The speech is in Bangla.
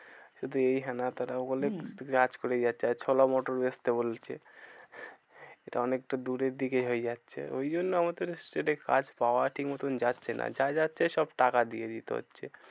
শুধু এই হ্যানা ত্যানা বলে হম আর ছোলা মোটর বেচতে বলছে। এটা অনেকটা দূরের দিকেই হয়ে যাচ্ছে ওই জন্য আমাদের state এ কাজ পাওয়া ঠিকমতো যাচ্ছে না। যা যাচ্ছে সব টাকা দিয়ে দিতে হচ্ছে।